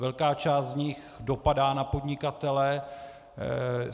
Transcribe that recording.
Velká část z nich dopadá na podnikatele.